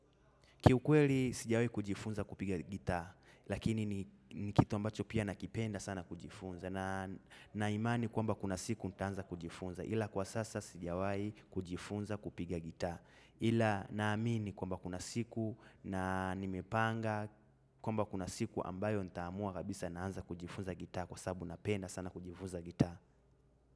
Kiukweli sijawahi kujifunza kupiga gitaa, lakini ni kitu ambacho pia nakipenda sana kujifunza. Nina imani kwamba kuna siku nitaanza kujifunza, ila kwa sasa sijawahi kujifunza kupiga gitaa. Ila naamini kwamba kuna siku na nimepanga kwamba kuna siku ambayo nitaamua kabisa naanza kujifunza gitaa kwa sababu napenda sana kujifunza gitaa.